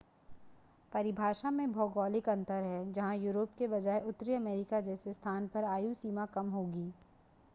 परिभाषा में भौगोलिक अंतर है जहां यूरोप के बजाय उत्तरी अमेरिका जैसे स्थानों पर आयु सीमा कम होगी